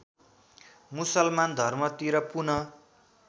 मुसलमान धर्मतिर पुनः